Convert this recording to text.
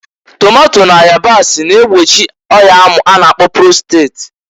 Tomato na yabasi na-egbochi ọya amụ a na-akpọ prostret.